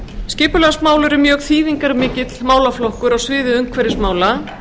skipulagsmál eru mjög þýðingarmikill málaflokkur á sviði umhverfismála